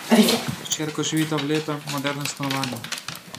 S hčerko živita v lepem, modernem stanovanju.